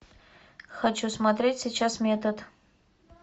хочу смотреть сейчас метод